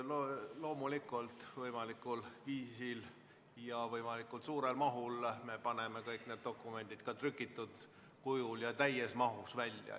Loomulikult me paneme kõik need dokumendid ka trükitud kujul ja täies mahus välja.